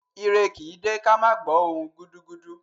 Ire kì í dé ká má gbọ̀ọ́ ohùn-un gudugudu